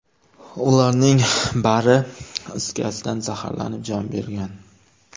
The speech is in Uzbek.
Ularning bari is gazdan zaxarlanib, jon bergan.